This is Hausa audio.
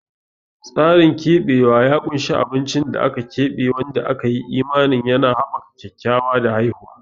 Tsarin keɓewa ya ƙunshi abincin da aka keɓe wanda aka yi imanin yana haɓaka kyakkyawa da haihuwa.